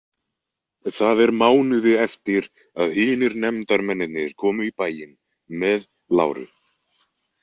Það er mánuði eftir að hinir nefndarmennirnir komu í bæinn með Lauru.